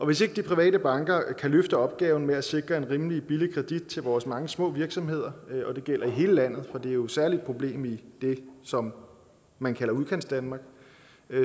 hvis ikke de private banker kan løfte opgaven med at sikre en rimelig billig kritik til vores mange små virksomheder og det gælder i hele landet for det er jo særlig et problem i det som man kalder udkantsdanmark